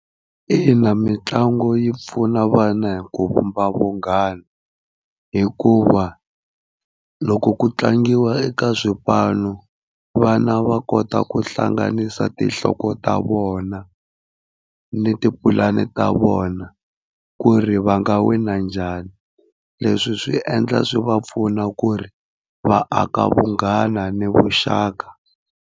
Ina mitlangu yi pfuna vana hi ku vumba vunghana hikuva loko ku tlangiwa eka swipanu, vana va kota ku hlanganisa tinhloko ta vona, ni tipulani ta vona ku ri va nga wina njhani leswi swi endla swi va pfuna ku ri va aka vunghana ni vuxaka.